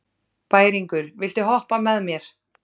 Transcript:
Bæringur, viltu hoppa með mér?